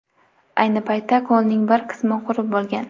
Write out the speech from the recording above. Ayni paytda ko‘lning bir qismi qurib bo‘lgan.